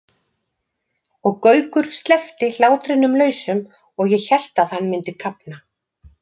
og Gaukur sleppti hlátrinum lausum og ég hélt að hann myndi kafna.